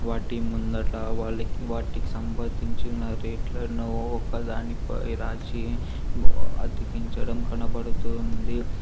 వాటి ముందట వాటికీ సంబంధించిన రేట్లను ఒక దానిపై రాసి అతికించడం కనబడుతూ ఉంది.